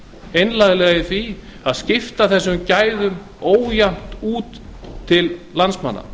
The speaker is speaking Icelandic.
einlæglega í því að skipta þessum gæðum ójafnt út til landsmanna